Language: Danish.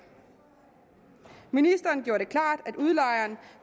ministeren gjorde det klart at udlejeren